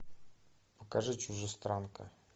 покажи чужестранка